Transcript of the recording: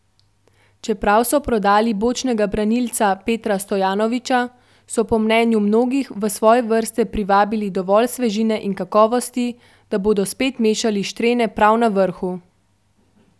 Čeprav so prodali bočnega branilca Petra Stojanovića, so po mnenju mnogih v svoje vrste privabili dovolj svežine in kakovosti, da bodo spet mešali štrene prav na vrhu.